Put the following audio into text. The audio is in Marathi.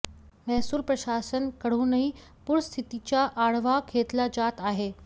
महसूल प्रशासन कडूनही पूरस्थितीचा आढावा घेतला जात आहे